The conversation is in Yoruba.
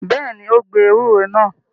Bẹ́ẹ̀ ni, ó gbẹ ewúro náà.